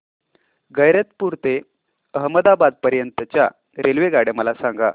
गैरतपुर ते अहमदाबाद पर्यंत च्या रेल्वेगाड्या मला सांगा